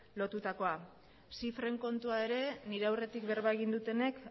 lotutakoa zifren kontua ere nire aurretik berba egin dutenek